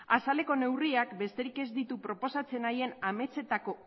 azaleko neurriak besterik ez ditu proposatzen nahien ametsetako